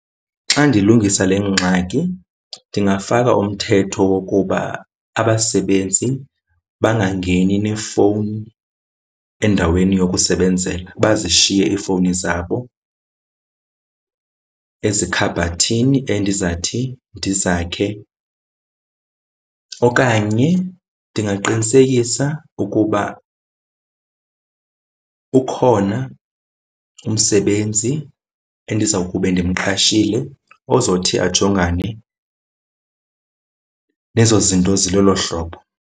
Xa ndilungisa le ngxaki ndingafaka umthetho wokuba abasebenzi bangangeni nefowuni endaweni yokusebenzela, bazishiye iifowuni zabo ezikhabhathini endizathi ndizakhe. Okanye ndingaqinisekisa ukuba ukhona umsebenzi endizawukube ndimqashile ozothi ajongane nezo zinto zilolo hlobo.